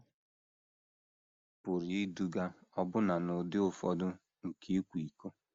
Ha pụrụ iduga ọbụna n’ụdị ụfọdụ nke ịkwa iko.